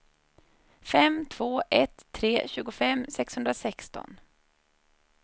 fem två ett tre tjugofem sexhundrasexton